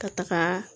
Ka taga